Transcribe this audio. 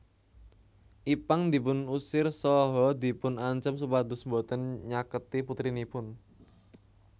Ipank dipun usir saha dipun ancem supados boten nyaketi putrinipun